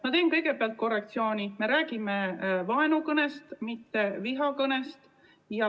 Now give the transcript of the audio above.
Ma teen kõigepealt korrektsiooni: me räägime vaenukõnest, mitte vihakõnest.